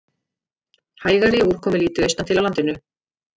Hægari og úrkomulítið austantil á landinu